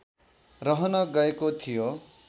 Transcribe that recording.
रहन गएको थियो